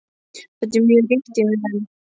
Þetta er mjög ríkt í mér enn.